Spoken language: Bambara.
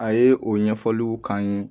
A ye o ɲɛfɔliw k'an ye